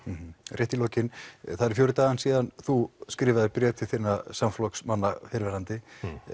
rétt í lokin það eru fjórir dagar síðan þú skrifaðir bréf til þinna samflokksmanna fyrrverandi